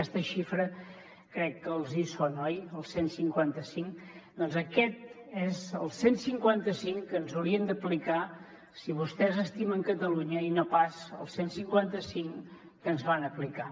aquesta xifra crec que els hi sona oi doncs aquest és el cent i cinquanta cinc que ens haurien d’aplicar si vostès estimen catalunya i no pas el cent i cinquanta cinc que ens van aplicar